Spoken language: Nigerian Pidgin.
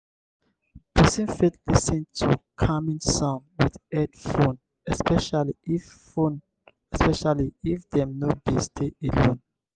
person fit lis ten to calming sound with head phone especially if phone especially if dem no dey stay alone